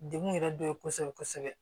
Degun yɛrɛ dɔ ye kosɛbɛ kosɛbɛ